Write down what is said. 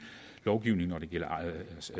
lovgivning når det gælder